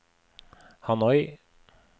Hanoi